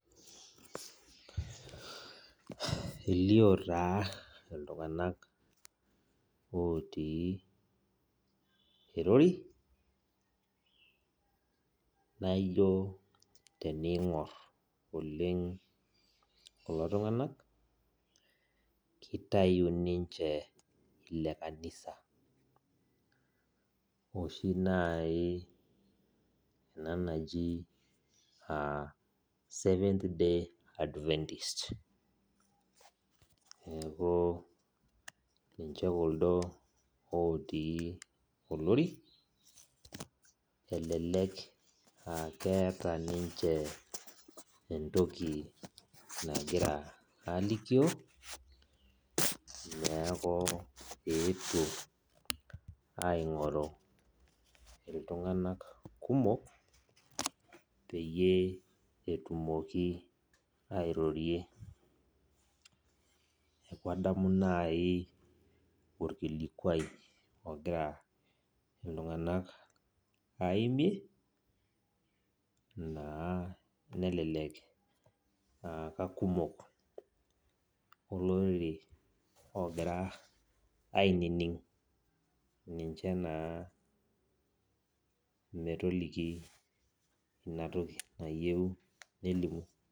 Elio taa iltung'anak otii erori, naijo tening'or oleng kulo tung'anak, kitayu ninche ile kanisa, oshi nai ena naji seventh day adventist. Neeku ninche kuldo otii olori, elelek akeeta ninche entoki nagira alikio, neeku eetuo aing'oru iltung'anak kumok, peyie etumoki airorie. Neeku adamu nai orkilikwai ogira iltung'anak aimie, naa nelelek akakumok olorere ogira ainining' ninche naa metoliki inatoki nayieu nelimu.